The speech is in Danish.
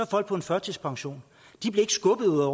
folk på en førtidspension ikke skubbet ud af